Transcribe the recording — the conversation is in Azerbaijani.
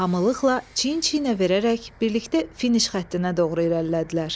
Hamılıqla çiyin-çiyinə verərək birlikdə finiş xəttinə doğru irəlilədilər.